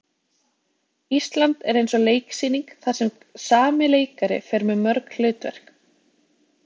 Ísland er eins og leiksýning þar sem sami leikari fer með mörg hlutverk.